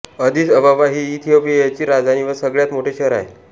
Addis Ababa ही इथियोपियाची राजधानी व सगळ्यात मोठे शहर आहे